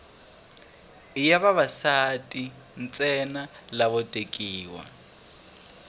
i ya vavasati ntsena lavo tekiwa